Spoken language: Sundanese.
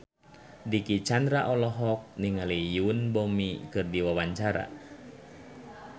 Dicky Chandra olohok ningali Yoon Bomi keur diwawancara